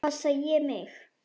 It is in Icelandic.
Passa ég mig?